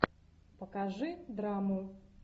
покажи драму